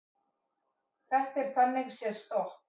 Þetta er þannig séð stopp